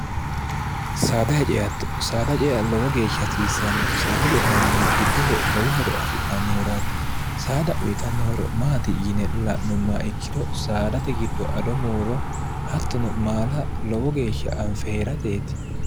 saadahe ceatto saada cea lowo geeshsha hasiissanno saada ce'nannihu giddose lowohoro afi'nannihuraati saada uyitannohoro maati yine la'nummaa ikkiro saadate giddo ado muuro hattono maala lowo geeshsha anfehee'rateeti